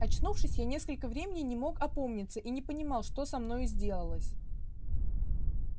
очнувшись я несколько времени не мог опомниться и не понимал что со мною сделалось